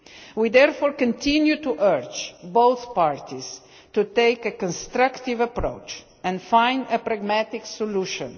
field. We therefore continue to urge both parties to take a constructive approach and find a pragmatic solution.